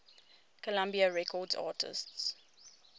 columbia records artists